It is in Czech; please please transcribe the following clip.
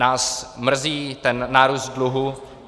Nás mrzí ten nárůst dluhu.